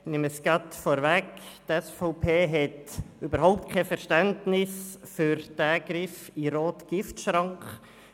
Die SVP-Fraktion hat überhaupt kein Verständnis für diesen Griff in den roten Giftschrank.